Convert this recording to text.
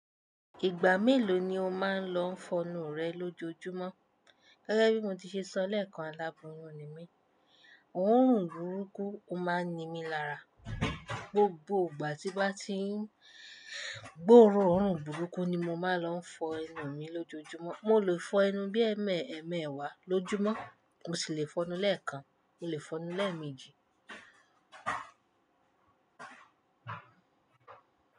Ìgbà mélòó ni o máa ń lọ fọnu rẹ lójoojúmọ́? Gẹ́gẹ́ bí mo ti ṣe sọ lẹ́ẹ̀kan, aláboyun ni mí. Òórùn burúkú o máa ń ni mí lára, gbogbo ìgbà tí bá ti gbòrun oórùn burúkú ni mo máa ń lọ fọ ẹnu mi lójoojúmọ́. Mo lè fọ ẹnu bí ẹ́ẹ̀mẹ́ ẹ̀ẹ́wá lójúmọ́, mo sì lè fọnu lẹ́ẹ̀kan, mo lè fọnu lẹ́ẹ̀mejì.